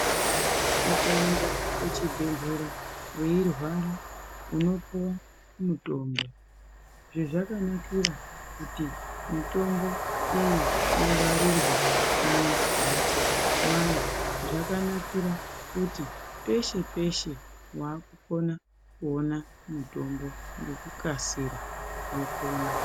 Ukaenda kuchibhehlera weirwara unopuwa mutombo . Zvezvakanakira kuti mitombo iyi ingwarirwe mumambatso mwayo zvakanakira kuti peshe-peshe wakukona kuona mutombo ngekukasira wopona.